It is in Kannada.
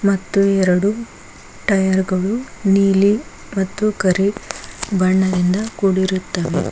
ಮತ್ತು ಎರಡು ಟಯರ್ ಗಳು ನೀಲಿ ಮತ್ತು ಕರಿ ಬಣ್ಣದಿಂದ ಕುಡಿರುತ್ತಾವೆ.